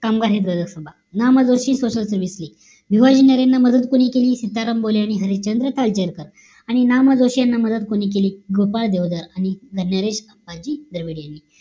कामगार हित सभा social service lig भिवजी नरेंना मदत कोणी केली चंद्र काळजेकर आणि ना मा जोशी यांना मदत कोणी केली गोपाळ देवदार आणि dress अप्पाजी द्रविड यांनी केली